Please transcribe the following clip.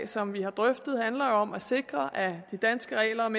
som vi har drøftet handler jo om at sikre at de danske regler om